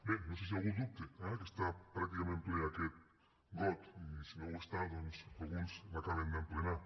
bé no sé si algú ho dubta eh que està pràcticament ple aquest got i si no ho està doncs alguns l’acaben d’emplenar